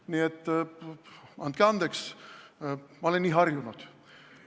Nii et andke andeks, ma olen nii harjunud.